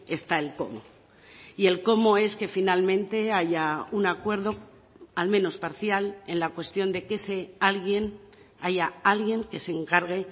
está el cómo y el cómo es que finalmente haya un acuerdo al menos parcial en la cuestión de que ese alguien haya alguien que se encargue